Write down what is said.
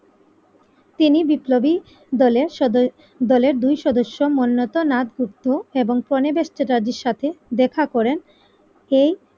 তিনি বিপ্লবী দলের সদ দলের দুই সদস্য মন্নত নাক উটট এবং কনে বেত্রাজীর সাথে দেখা করেন এই